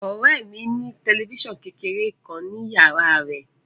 Ọ̀rẹ́ ẹ mi ní tẹ̀lifísàn kékeré kan ni yàrá á rẹ̀